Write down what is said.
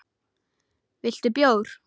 Viltu bjór?